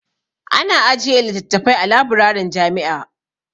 Ana ajiye littattafai a labirarin jami'a.